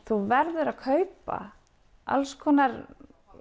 þú verður að kaupa alls konar